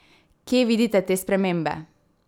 Kje vidite te spremembe?